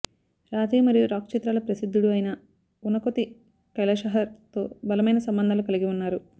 రాతి మరియు రాక్ చిత్రాలు ప్రసిద్ధుడు అయిన ఉనకొతి కైలషహర్ తో బలమైన సంబంధాలు కలిగి ఉన్నారు